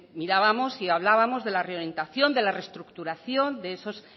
mirábamos y hablábamos de la reorientación de la reestructuración de esos